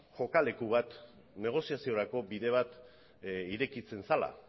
kokaleku bat negoziaziorako bide bat irekitzen zela